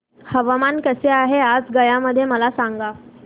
हवामान कसे आहे आज गया मध्ये मला सांगा